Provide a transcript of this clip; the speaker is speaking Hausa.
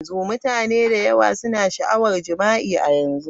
Mutane da yawa suna da sha'awar jima'i a yanzu.